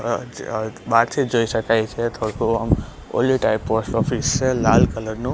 બારથી જોઇ શકાય છે થોડુ ઓલી ટાઇપ પોસ્ટ ઑફિસ છે લાલ કલર નુ.